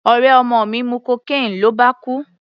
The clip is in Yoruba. Ọ̀rẹ́ ọmọ mi mu cocaine ló bá kú.